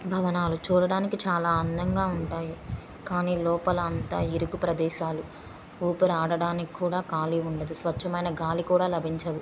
భవనాలు చూడటానికి చాలా అందంగా ఉంటాయి. కానీ లోపల అంతా ఇరుకు ప్రదేశాలు . ఊపిరి ఆడటానికి కూడా కాళీ ఉండదు.స్వచ్ఛమైన గాలి కూడా లభించదు.